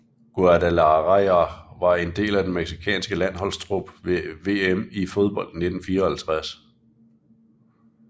Guadalajara og var en del af den mexicanske landsholdstrup ved VM i fodbold 1954